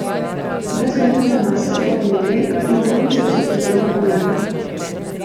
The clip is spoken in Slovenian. Brez meritve mase torej ne gre in dvojnice so tu zelo pomembne.